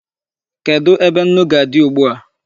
Kedụ ebe nnu ga-adị ugbu a?